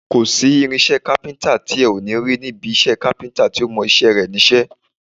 Kò sí irinṣẹ́ kápíntà tí ẹ ò ní rí ní ibi iṣẹ́ kápíntà tó mọ iṣẹ́ ẹ̀ níṣẹ́